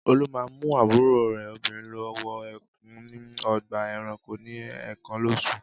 Olú máa ń mú àbúrò rẹ̀ obìnrin lọ wo ẹkùn ní ọgbà-ẹranko ní ẹ̀ẹ̀kan lóṣù.